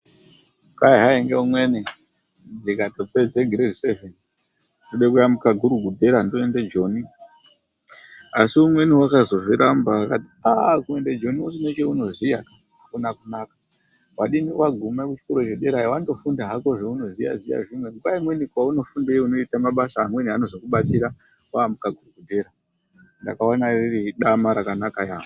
Kwai Hai ngeimweni, ndikatopedza giredhi sevheni ndoda kuambuka gurugudheya ndoende Joni. Asi umweni wakazozviramba akati kuende Joni usina cheunoziya azvizi kunaka. Wadini watanga kuenda kuzvikora zvepadera wandofunda hako zveunoziya-ziya zvimweni, nguwa imweni kweunofundayo unoita mishando imweni inozokudetsera waambuka gurugudheya. Ndakaona riri dana rakanaka yaampho.